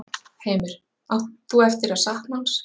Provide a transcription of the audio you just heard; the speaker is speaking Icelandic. Heimir: Átt þú eftir að sakna hans?